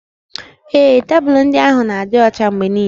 Ee, tebụlụ ndị ahụ na-adị ọcha mgbe niile